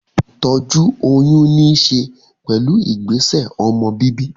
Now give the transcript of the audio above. Ìtọ́jú oyún ní ṣe pẹ̀lú ìgbésẹ̀ ọmọ bíbí